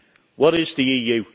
What is the EU?